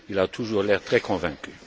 Il a toujours l'air très convaincu.